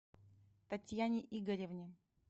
татьяне игоревне